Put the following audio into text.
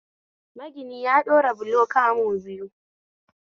Magini ya ɗora bulo kamu biyu